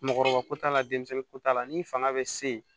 Mɔgɔkɔrɔba ko t'a la denmisɛnninko t'a la ni fanga bɛ se